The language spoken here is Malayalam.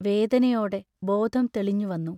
വേദനയോടെ ബോധം തെളിഞ്ഞുവന്നു.